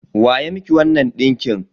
Wa ya miki wannan ɗinkin?